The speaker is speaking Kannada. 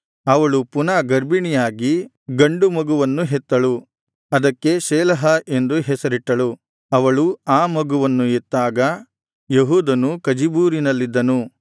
ಅವಳು ಪುನಃ ಗರ್ಭಿಣಿಯಾಗಿ ಗಂಡು ಮಗುವನ್ನು ಹೆತ್ತಳು ಅದಕ್ಕೆ ಶೇಲಹ ಎಂದು ಹೆಸರಿಟ್ಟಳು ಅವಳು ಆ ಮಗುವನ್ನು ಹೆತ್ತಾಗ ಯೆಹೂದನು ಕಜೀಬೂರಿನಲ್ಲಿದ್ದನು